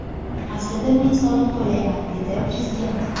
Aslida men soliq to‘layman”, – dedi prezident.